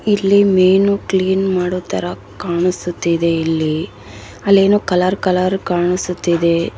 ಇಲ್ಲಿ ಮೀನು ಕ್ಲೀನ್‌ ಮಾಡೊತರ ಕಾಣಿಸುತ್ತಿದೆ ಇಲ್ಲಿ ಅಲ್ಲಿ ಏನೋ ಕಲರ್‌ ಕಲರ್‌ ಕಾಣಿಸುತ್ತಿದೆ .